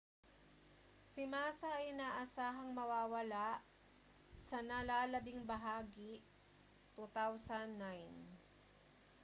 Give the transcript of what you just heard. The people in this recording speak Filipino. si massa ay inaasahang mawawala sa nalalabing bahagi 2009